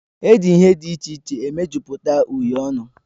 Eji ihe dị iche iche mejupụta uhiè ọnụ